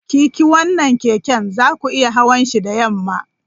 Kiki wannan keken! za ku iya hawan shi da yamma!